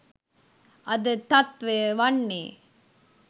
අද තත්ත්වය වන්නේ